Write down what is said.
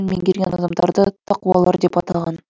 меңгерген адамдарды тақуалар деп атаған